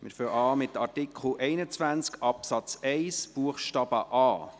Wir beginnen mit Artikel 21 Absatz 1 Buchstabe a.